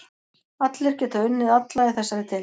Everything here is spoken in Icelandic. Allir geta unnið alla í þessari deild.